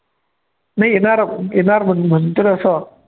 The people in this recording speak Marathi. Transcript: नाही येणार येणार म्हण म्हणतील असं